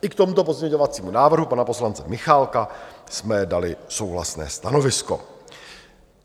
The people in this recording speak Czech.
I k tomuto pozměňovacímu návrhu pana poslance Michálka jsme dali souhlasné stanovisko.